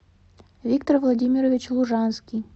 виктор владимирович лужанский